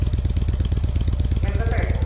main କଥା ଏଟା